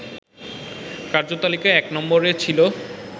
কার্যতালিকায় ১ নম্বরে ছিল